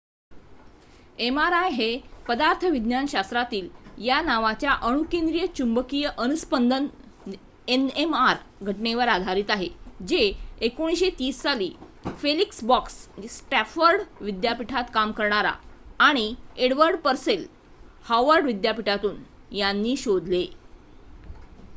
mri हे पदार्थविज्ञान शास्त्रातील या नावाच्या अणुकेंद्रिय चुंबकीय अनूस्पंदन nmr घटनेवर आधारित आहे जे 1930 साली फेलिक्स ब्लॉक स्टँफोर्ड विद्यापीठात काम करणारा आणि एडवर्ड परसेल हार्वर्ड विद्यापीठातून यांनी शोधले